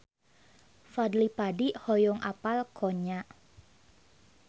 Fadly Padi hoyong apal Konya